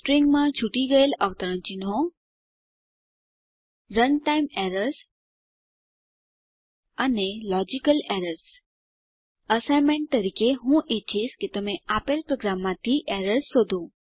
સ્ટ્રીંગમાં છૂટી ગયેલ અવતરણો રનટાઇમ એરર્સ અને 001030 001002 લોજિકલ એરર્સ એસાઈનમેંટ તરીકે હું ઈચ્છીશ કે તમે આપેલ પ્રોગ્રામમાંથી એરર્સ શોધો